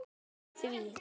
Ég mótmæli því.